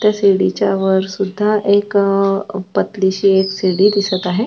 ते सीडी च्या वर सुद्धा एक अ पातली शी एक सीडी दिसत आहे.